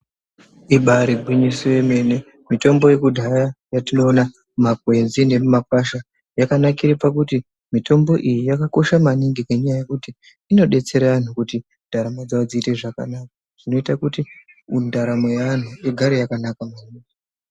Ibarigwiso remene kuti mitombo yekudhaya yatinoona makwenzi emakwasha yakanakira kuti mitombo iyi yakakosha maningi ngenyaya yekuti inodetsera anhu kuti ndaramo dzawodziite zvakanaka zvinoita kuti ndaramo yaanhu igare yakanaka